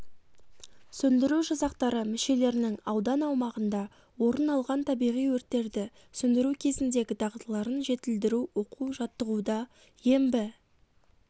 сөндіру жасақтары мүшелерінің аудан аумағында орын алған табиғи өрттерді сөндіру кезіндегі дағдыларын жетілдіру оқу-жаттығуда ембі